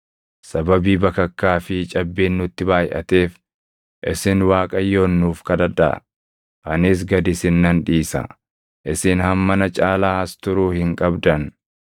Sababii bakakkaa fi cabbiin nutti baayʼateef isin Waaqayyoon nuuf kadhadhaa. Anis gad isin nan dhiisa; isin hammana caalaa as turuu hin qabdan.”